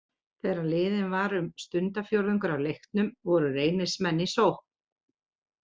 Þegar liðinn var um stundarfjórðungur af leiknum voru Reynismenn í sókn.